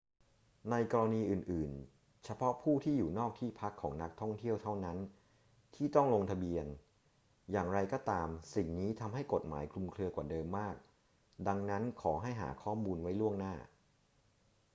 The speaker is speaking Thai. ในกรณีอื่น ๆ เฉพาะผู้ที่อยู่นอกที่พักของนักท่องเที่ยวเท่านั้นที่ต้องลงทะเบียน อย่างไรก็ตาม สิ่งนี้ทำให้กฎหมายคลุมเครือกว่าเดิมมาก ดังนั้น ขอให้หาข้อมูลไว้ล่วงหน้า